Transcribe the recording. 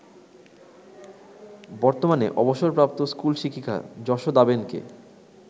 বর্তমানে অবসরপ্রাপ্ত স্কুল শিক্ষিকা যশোদাবেনকে